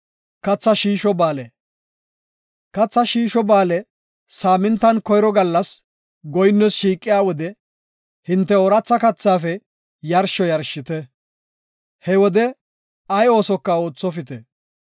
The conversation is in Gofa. “Katha Shiisho Ba7aale saamintan koyro gallas goyinnoos shiiqiya wode hinte ooratha kathaafe yarsho yarshite; he wode ay oosoka oothopite.